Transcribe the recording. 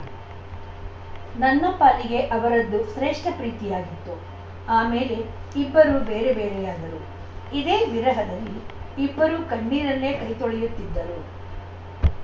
ನನ್ನ ಪಾಲಿಗೆ ಅವರದ್ದು ಶ್ರೇಷ್ಠ ಪ್ರೀತಿಯಾಗಿತ್ತು ಆಮೇಲೆ ಇಬ್ಬರೂ ಬೇರೆ ಬೇರೆಯಾದರು ಇದೇ ವಿರಹದಲ್ಲಿ ಇಬ್ಬರೂ ಕಣ್ಣೀರಲ್ಲೇ ಕೈ ತೊಳೆಯುತ್ತಿದ್ದರು